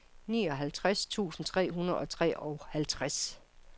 nioghalvtreds tusind tre hundrede og treoghalvtreds